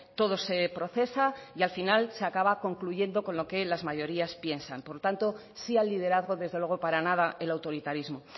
todo se procesa y al final se acaba concluyendo con lo que las mayorías piensan por tanto sí al liderazgo desde luego para nada el autoritarismo